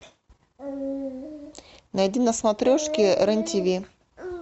найди на смотрешке рен тиви